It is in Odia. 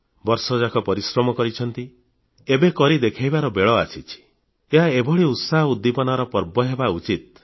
ବର୍ଷଯାକ ପରିଶ୍ରମ କରିଛନ୍ତି କିଛି ଏକ କରି ଦେଖାଇବାର ବେଳ ଆସିଛି ଏହା ଏଭଳି ଉତ୍ସାହ ଉଦ୍ଦୀପନାର ପର୍ବ ହେବା ଉଚିତ